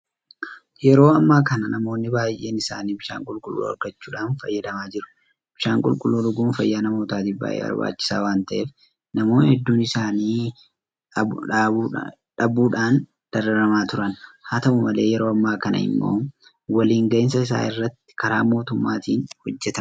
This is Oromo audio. Yeroo ammaa kana namoonni baay'een isaanii bishaan qulqulluu argachuudhaan fayyadamaa jiru. Bishaan qulqulluu dhuguun fayyaa namootaatiif baay'ee barbaachisaa waanta ta'eef namoonni hedduun isa dhabuudhaan dararamaa turan. Haata'u malee yeroo ammaa kana immoo waliin gahinsa isaa irratti karaa mootummaatiin hojjetamaa jira.